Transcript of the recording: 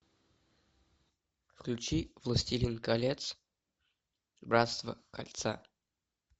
включи властелин колец братство кольца